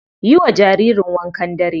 Yiwa jaririn wankan dare.